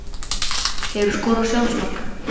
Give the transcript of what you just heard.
Hefurðu skorað sjálfsmark?